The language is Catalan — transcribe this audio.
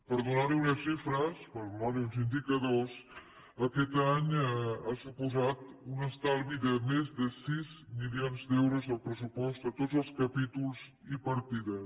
per donar li unes xifres per donar li uns indicadors aquest any ha suposat un estalvi de més de sis milions d’euros al pressupost a tots els capítols i partides